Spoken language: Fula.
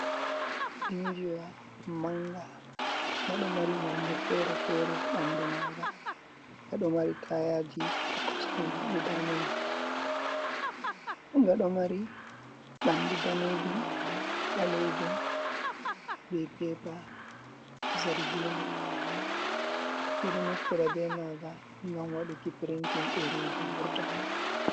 Injiwa manga ngado mari nonde fere-fere ɓandu manga, ngaɗo mari tayaji ha kostemai guda nai. Ngaɗo mari ɓandu danejum ɓalejum be pepa zargina ɓeɗo naftira be manga ngam waduki printen ɗereji vurta.